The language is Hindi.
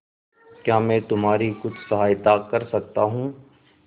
क्या मैं तुम्हारी कुछ सहायता कर सकता हूं